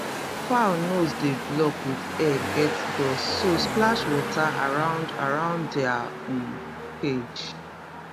fowl nose dey block with air get dust so splash water around around dia um cage